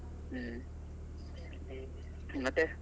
ಹ್ಮ್ . ಮತ್ತೆ?